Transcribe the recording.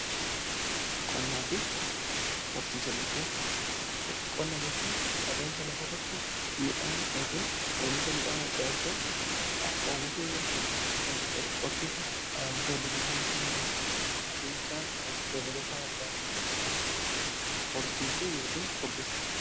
Qonnaa jechuun adeemsa lafa irratti midhaan yookiin oomisha midhaan adda addaa oomishuu yoo ta'u horsiisa beelladootaa jechuun immoo adeemsa beelladoota adda addaa horsiisuu yookin furdisuuti.